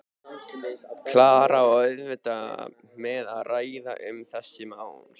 Klara á auðvelt með að ræða um þessi mál.